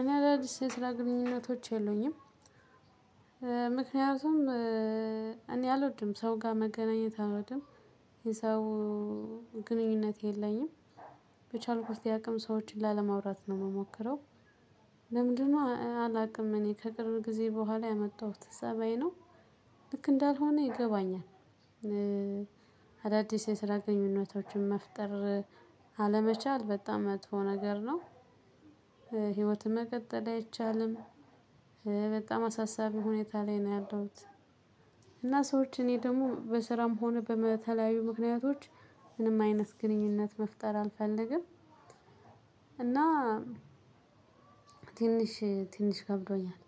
እኔ አዳዲስ የስራ ግንኙነቶች የለኝም። ምክንያቱም እኔ አልወድም ሰው ጋር መገናኘት አልወድም። የሰው ግንኙነት የለኝም። በቻልኩ ያቅም ሰዎችን ላለማውራት ነው የምሞክረው። ለምንድነው አላውቅም እኔ ከቅርብ ጊዜ በኋላ ያመጣሁት ፀባይ ነው። ልክ እንዳልሆነ ይገባኛል። አዳዲስ የስራ ግንኙነቶችን መፍጠር አለመቻል በጣም መጥፎ ነገር ነው። ህይወትህ መቀጠል አይቻልም። በጣም አሳሳቢ ሁኔታ ላይ ነው ያለሁት። እና ሰዎች እኔ ደግሞ በስራም ሆነ በተለያዩ ምክንያቶች ምንም አይነት ግንኙነት መፍጠር አልፈልግም። እና ትንሽ ትንሽ ከብዶኛል።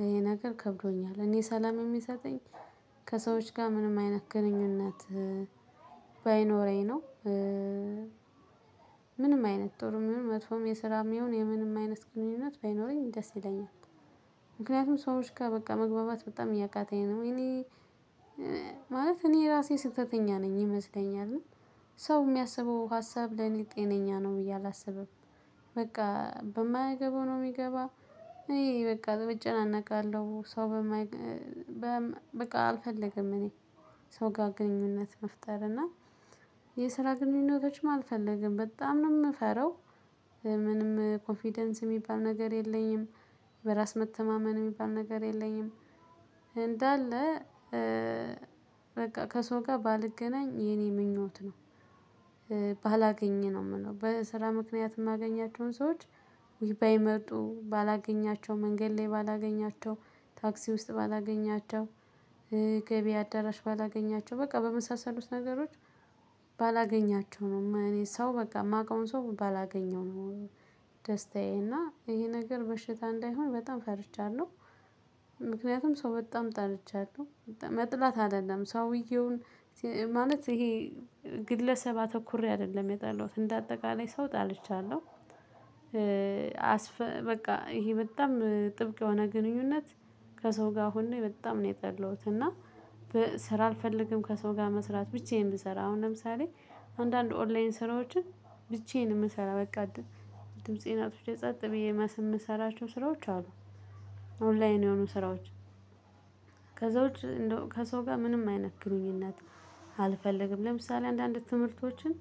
ይሄ ነገር ከብዶኛል እኔ ሰላም የሚሰጠኝ ከሰዎች ጋር ምንም አይነት ግንኙነት ባይኖረኝ ነው። ምንም አይነት ጦር ምንም መጥፎም የስራም ይሁን የምንም አይነት ግንኙነት ባይኖረኝ ደስ ይለኛል። ምክንያቱም ሰዎች ጋር በቃ መግባባት በጣም እያቃተኝ ነው እኔ ማለት እኔ ራሴ ስህተተኛ ነኝ ይመስለኛል። ሰው የሚያስበው ሀሳብ ለኔ ጤነኛ ነው ብዬ አላስብም። በቃ በማይገባው ነው የሚገባ እኔ እጨናነቃለሁ ሰው። በቃ አልፈልግም እኔ ሰው ጋር ግንኙነት መፍጠር እና ግንኙነቶችም አልፈልግም በጣም ነው የምፈራው። ምንም ኮንፊደንስ የሚባል ነገር የለኝም። በራስ መተማመን የሚባል ነገር የለኝም። እንዳለ በቃ ከሰው ጋር ባልገናኝ የኔ ምኞት ነው። ባላገኝ ነው የምለው በስራ ምክንያት የማገኛቸውን ሰዎች ባይመጡ ባላገኛቸው መንገድ ላይ ባላገኛቸው ታክሲ ውስጥ ባላገኛቸው ገቢ አዳራሽ ባላገኛቸው በቃ በመሳሰሉት ነገሮች። ነው እኔ ሰው በቃ የማውቀውን ሰው ባላገኘው ነው። ደስታዬ እና ይሄ ነገር በሽታ እንዳይሆን በጣም ፈርቻለሁ። ምክንያቱም ሰው በጣም ጠርቻለሁ መጥላት አይደለም ሰውየውን ማለት ይሄ ግለሰብ አተኩሬ አይደለም የጣለውት እንደ አጠቃላይ ሰው ጠልቻለሁ። በቃ ይሄ በጣም ጥብቅ የሆነ ግንኙነት ከሰው ጋር ሆኖ በጣም ነው የጠላሁት። እና ስራ አልፈልግም ከሰው ጋር መስራት ብቻ ነው የምሰራው። አሁን ለምሳሌ አንዳንድ ኦንላይን ስራዎችን ብቻዬን የምሰራ በቃ ድምፄን ጸጥ ብዬ የምሰራቸው ስራዎች አሉ። ኦንላይን የሆኑ ስራዎች ከዛው ከሰው ጋር ምንም አይነት ግንኙነት አልፈልግም። ለምሳሌ አንዳንድ ትምህርቶችን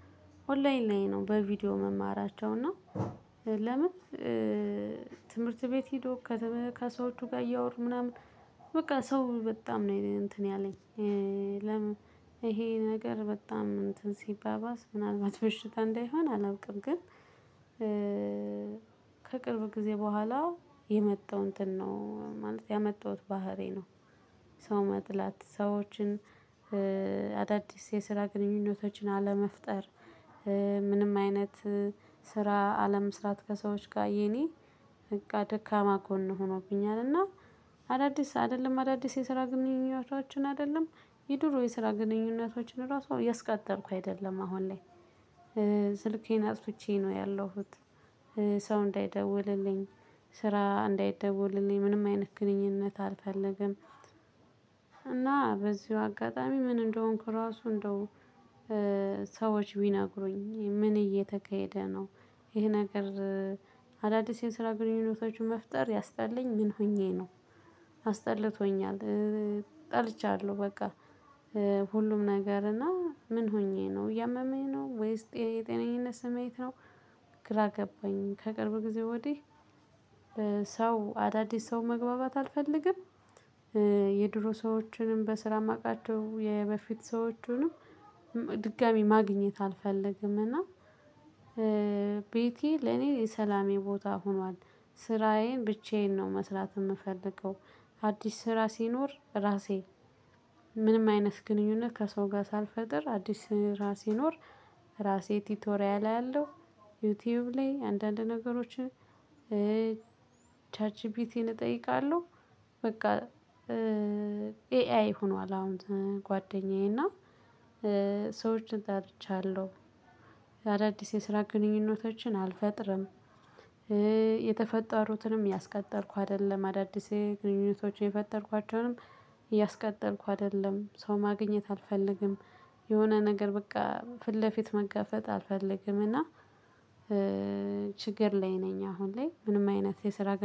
ኦንላይን ላይ ነው በቪዲዮ መማራቸው እና ለምን ትምህርት ቤት ሄዶ ከሰዎቹ ጋር እያወሩ ምናምን በቃ ሰው በጣም ነው እንትን ያለኝ። ይሄ ነገር በጣም እንትን ሲባባስ ምናልባት በሽታ እንዳይሆን አላውቅም ግን። ከቅርብ ጊዜ በኋላ የመጣው እንትን ነው ማለት ያመጣሁት ባህሬ ነው። ሰው መጥላት ሰዎችን አዳዲስ የስራ ግንኙነቶችን አለመፍጠር። ምንም አይነት ስራ አለመስራት ከሰዎች ጋር የኔ በቃ ደካማ ኮን ሆኖብኛል። እና አዳዲስ አይደለም አዳዲስ የስራ ግንኙነቶችን አይደለም። የድሮ የስራ ግንኙነቶችን ራሱ እያስቀጠልኩ አይደለም አሁን ላይ። ስልኬን አጥቼ ነው ያለሁት። ሰው እንዳይደውልልኝ ስራ እንዳይደውልልኝ ምንም አይነት ግንኙነት አልፈልግም። እና በዚሁ አጋጣሚ ምን እንደሆንኩ ራሱ እንደው ሰዎች ቢነግሩኝ ምን እየተካሄደ ነው? ይሄ ነገር አዳዲስ የሰራ ግንኙነቶችን መፍጠር ያስጠላኝ ምን ሆኜ ነው? አስጠለቶኛል። ጠልቻለሁ በቃ ሁሉም ነገር እና ምን ሆኜ ነው እያመመኝ ነው ወይስ የጤነኝነት ስሜት ነው? ግራ ገባኝ ከቅርብ ጊዜ ወዲህ አዳዲስ ሰው መግባባት አልፈልግም። የድሮ ሰዎችንም በስራ የማቃቸው የበፊት ሰዎችንም ድጋሚ ማግኘት አልፈልግም። እና ቤቴ ለኔ የሰላሜ ቦታ ሆኗል። ስራዬን ብቻዬን ነው መስራት የምፈልገው። አዲስ ስራ ሲኖር ራሴ ምንም አይነት ግንኙነት ከሰው ጋር ሳልፈጥር አዲስ ስራ ሲኖር ራሴ ቲቶሪያ ላይ ያለው ዩቲዩብ ላይ አንዳንድ ነገሮች። ቻት ጂፒቲን እጠይቃለሁ። በቃ ኤአይ ሆኗል አሁን ጓደኛዬ እና ሰዎችን ጠልቻለሁ አዳዲስ የስራ ግንኙነቶችን አልፈጥርም። የተፈጠሩትንም ያስቀጠርኩ አይደለም አዳዲስ ግንኙነቶችን የፈጠርኳቸውንም እያስቀጠልኩ አይደለም። ሰው ማግኘት አልፈልግም የሆነ ነገር በቃ ፊት ለፊት መጋፈጥ አልፈልግምና። ችግር ላይ ነኝ አሁን ላይ ምንም አይነት የስራ ግን